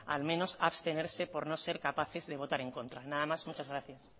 al menos abstenerse por no ser capaces de votar en contra nada más muchas gracias